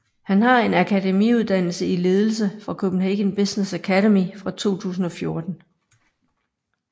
Han har en akademiuddannelse i ledelse fra Copenhagen Business Academy fra 2014